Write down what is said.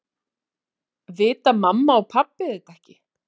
Vita mamma og pabbi þetta ekki?